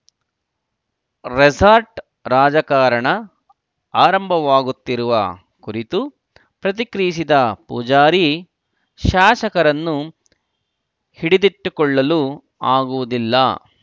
resort ರಾಜಕಾರಣ ಆರಂಭವಾಗುತ್ತಿರುವ ಕುರಿತು ಪ್ರತಿಕ್ರಿಯಿಸಿದ ಪೂಜಾರಿ ಶಾಸಕರನ್ನು ಹಿಡಿದಿಟ್ಟುಕೊಳ್ಳಲು ಆಗುವುದಿಲ್ಲ